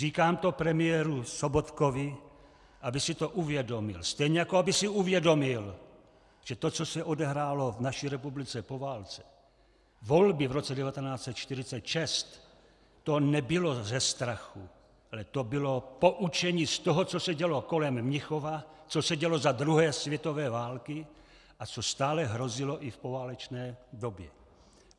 Říkám to premiéru Sobotkovi, aby si to uvědomil, stejně jako aby si uvědomil, že to, co se odehrálo v naší republice po válce, volby v roce 1946, to nebylo ze strachu, ale to bylo poučení z toho, co se dělo kolem Mnichova, co se dělo za druhé světové války a co stále hrozilo i v poválečné době.